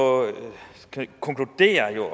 konkludere